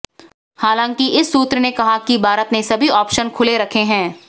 हालांकि इस सूत्र ने कहा कि भारत ने सभी ऑप्शन खुले रखे हैं